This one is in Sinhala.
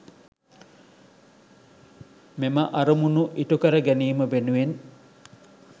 මෙම අරමුණු ඉටු කර ගැනීම වෙනුවෙන්